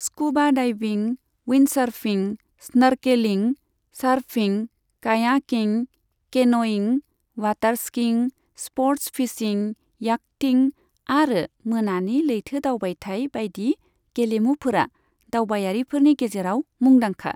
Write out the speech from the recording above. Scuba diving, windsurfing, snorkeling, surfing, kayaking, canoeing, water skiing, sports fishing, yachting आरो मोनानि लैथो दावबायथाय बायदि गेलुमुफोरा दावबायारिफोरनि गेजेराव मुंदांखा।